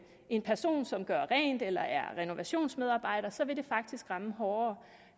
en person som gør rent eller er renovationsmedarbejder vil det faktisk ramme hårdere